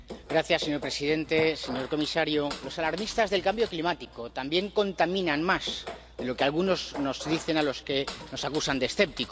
Señor presidente, señor comisario, los alarmistas del cambio climático también contaminan más de lo que algunos nos dicen a los que nos acusan de escépticos.